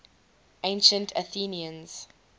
ancient athenians